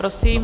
Prosím.